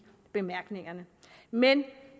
bemærkningerne men